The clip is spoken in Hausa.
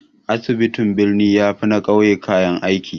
Asibitin birni ya fi na ƙauye kayan aiki